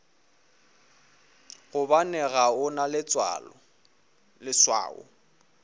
gobane ga o na leswao